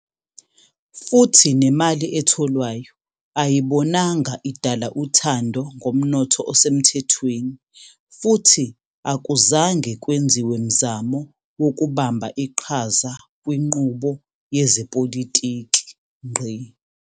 Futhi nemali etholwayo ayibonanga idala uthando ngomnotho osemthethweni futhi akuzange kwenziwe mzamo wokubamba iqhaza kwinqubo yezepolitiki.